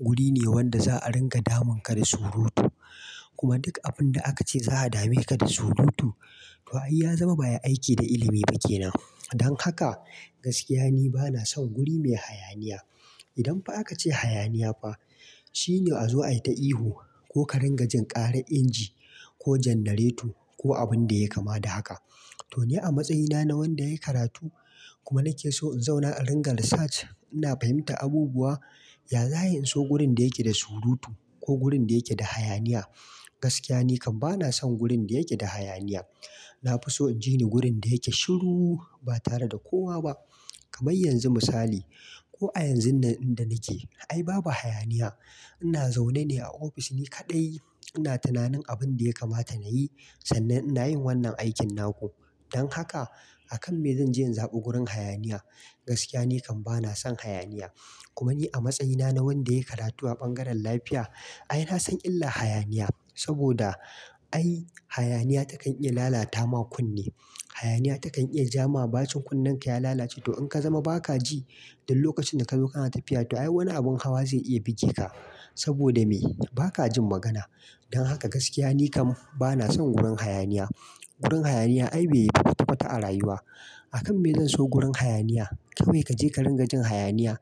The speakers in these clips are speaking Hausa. wuri ne wanda za a ringa damunka da surutu. Kuma duk abin da aka ce za a dameka da surutu, to ai ya zama ba ai aiki da ilimi ba ke nan. Don haka, gaskiya ni bana son guri mai hayaniya. Idan fa aka ce hayaniya fa, shi ne a zo ai ta ihu, ko ka ringa jin ƙarar inji, ko jannareto, ko abin da yai kama da haka. To ni a matsayina na wanda yayi karatu, kuma nake so in zauna a ringa research, ina fahimtar abubuwa, ya za'a yi in so gurin da yake da surutu, ko gurin da yake da hayaniya? Gaskiya ni kam bana son gurin da yake da hayaniya. Na fi so inji ni gurin da yake shiru, ba tare da kowa ba. Kamai yanzu misali, ko a yanzun da, inda nake, ai babu hayaniya. Ina zaune ne a ofis ni kaɗai, ina tunanin abin da ya kamata na yi, sannan ina yin wannan aikin naku. Don haka, a kan me zan je in zaɓi gurin hayaniya? Gaskiya ni kam bana son hayaniya. Kuma ni a matsayina na wanda ya yi karatu a bangaren lafiya, ai na san illah-hayaniya. Saboda ai hayaniya takan iya lalata ma kunne. Hayaniya takan iya ja ma bacin kunnenka ya lalace, to in ka zama ba ka ji, dul lokacin da ka zo kana tafiya, to ai wani abin hawa zai iya bige ka. Saboda me? Ba ka jin magana. Don haka gaskiya ni kam bana son gurin hayaniya. Gurin hayaniya ai bai yi kwata-kwata a rayuwa. A kan me zan so gurin hayaniya? Kawai kaje ka ringa jin hayaniya,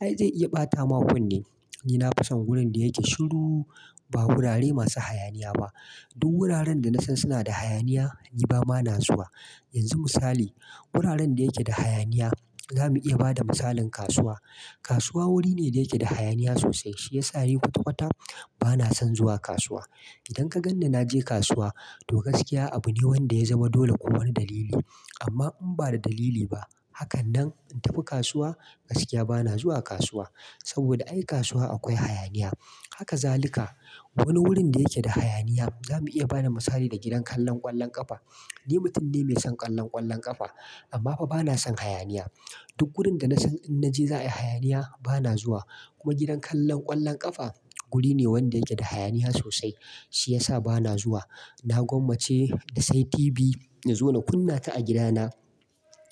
ai zai iya ɓata ma kunne. Ni na fi son wurin da yake shiru, ba gurare masu hayaniya ba. Du wuraren da nasan suna da hayaniya, ni ba ma na zuwa. Yanzu misali, guraren da yake da hayaniya, zamu iya ba da misalin kasuwa. Kasuwa wuri ne da yake da hayaniya sosai. Shi ya sa ni kwata-kwata, bana son zuwa kasuwa. Idan ka gan ni na je kasuwa, to gaskiya abu ne wanda ya zama dole ko wani dalili. Amma in ba da dalili ba, hakan nan in tafi kasuwa, gaskiya bana zuwa kasuwa. Saboda ai kasuwa akwai hayaniya. Haka zalika, wani wurin da yake da hayaniya, zamu iya bada misali da gidan kallon ƙwallon ƙafa. Ni mutum ne mai son ƙallon ƙwallon ƙafa, amma fa bana son hayaniya. Du wurin da nasan in naje za'a yi hayaniya, bana zuwa. Kuma gidan kallon ƙwallon ƙafa, guri ne wanda yake da hayaniya sosai. Shi ya sa bana zuwa. Na gwammace na sai TV, na zo na kunna ta a gida na,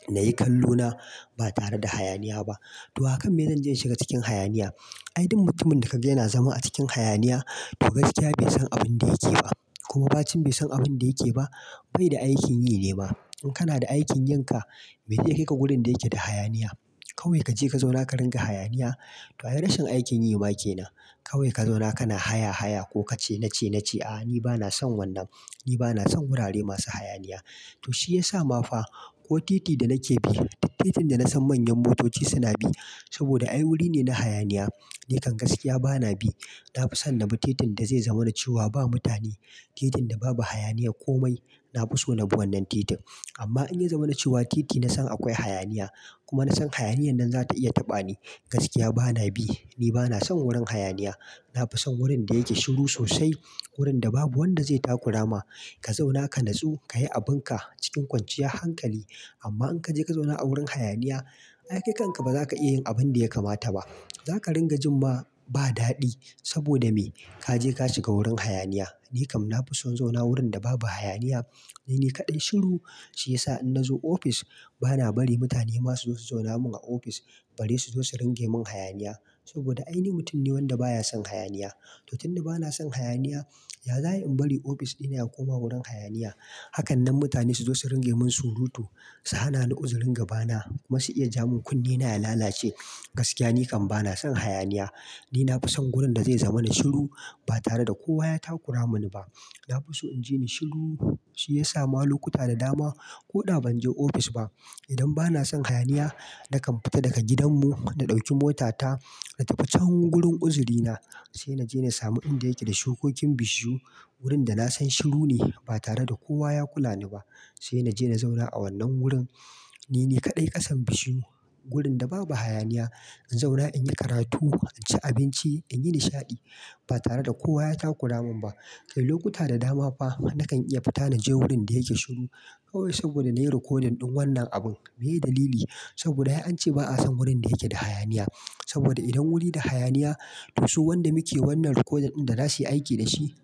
na yi kallo na, ba tare da hayaniya ba. To a kan me zan je in shiga cikin hayaniya? Ai dum mutumin da kaga yana zama a cikin hayaniya, to gaskiya bai san abin da yake ba. Kuma bacin bai san abin da yake ba. Bai da aikin yi ne ma. In kana da aikin yin ka, me zai kai ka gurin da yake da hayaniya? Kai wai kaje ka zauna ka ringa hayaniya? To ai rashin aikin yi ma ke nan. Kawai ka zauna kana haya-haya ko kace nace- nace, A'a, ni bana son wannan. Ni bana son wurare masu hayaniya. To shi ya sa ma fa, ko titi da nake bi, duk titin da nasan manyan motoci suna bi, saboda ai wuri ne na hayaniya, ni kam gaskiya bana bi. Na fi son na bi titin da zai zamani cewa ba mutane. Titin da babu hayaniya komai, na fi so na bi wannan titin. Amma in ya zamani cewa titi na san akwai hayaniya, kuma na san hayaniyan nan za ta iya taɓa ni, gaskiya bana bi. Ni bana son wurin hayaniya. Na fi son wurin da yake shiru sosai. Wurin da babu wanda zai takurama. Ka zauna ka natsu, ka yi abin ka cikin kwanciya hankali. Amma in kaje ka zauna a wurin hayaniya, ai kai kanka ba za ka iya yin abin da ya kamata ba. Za ka ringa jin ma ba daɗi. Saboda me? Ka je ka shiga wurin hayaniya. Ni kam na fi son zauna wurin da babu hayaniya. Ni ne kaɗai shiru. Shi ya sa in nazo ofis, bana bari mutane ma su zo su zauna mun a ofis. Bari su zo su ringe mun hayaniya. Saboda ai ni mutum ne wanda baya son hayaniya. To tun da bana son hayaniya, ya za'a yi in bari ofis ɗina ya koma wurin hayaniya? Hakanan mutane su zo su ringai mun surutu, su hana ni uzurin gabana. Kuma su iya ja mun kunne na ya lalace. Gaskiya ni kam bana son hayaniya. Ni na fi son gurin da zai zamana shiru, ba tare da kowa ya takura muni ba. Na fi so in ji ni shiru, shi ya sa ma lokuta da dama, ko da ban je ofis ba. Idan bana son hayaniya, nakan fita daga gidan mu, da ɗauki mota ta, na tafi can gurin uzuri na. Sai na je na samu inda yake da shukokin bishiyu. Wurin da na san shiru ne ba tare da kowa ya kula ni ba. Sai na je na zauna a wannan wurin, Nini kaɗai kasan bishiyu. Gurin da babu hayaniya. In zauna, in yi karatu, in ci abinci, in yi nishaɗi. Ba tare da kowa ya takura mun ba. Kai lokuta da dama fa, nakan iya fita na je wurin da yake shiru, kawai saboda na yi rikodin ɗin wannan abun. Meye dalili? Saboda ai an ce ba'a son wurin da yake da hayaniya. Saboda idan wuri da hayaniya, to su wanda muke wannan rikodin ɗin da za su yi aiki da shi,